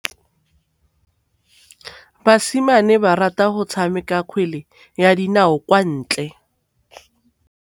Basimane ba rata go tshameka kgwele ya dinaô kwa ntle.